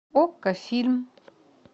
окко фильм